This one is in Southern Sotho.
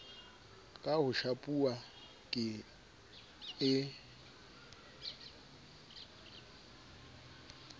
ka ho shapuwa ke e